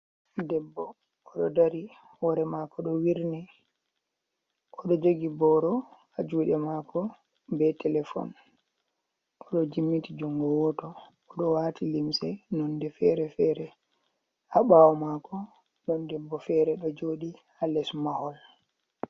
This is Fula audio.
Ɗebbo oɗo ɗari wore mako ɗo wirni. Oɗo jogi boro ha juɗe mako be telefon. Oɗo jimmiti jungo woto oɗo wati limse nonde fere-fere. Ha bawomako ɗon ɗebbo fere ɗo joɗi ha les mahol.